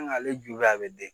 ale ju la bi den